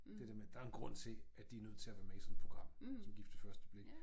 Det der med der en grund til at de er nødt til at være med i sådan et program som gift ved første blik